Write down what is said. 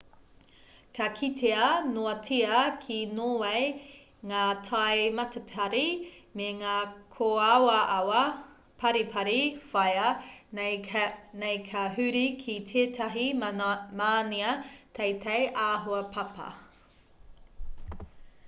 ka kitea noatia ki nōwei ngā tai matapari me ngā kōawaawa paripari whāia nei ka huri ki tētahi mānia teitei āhua papa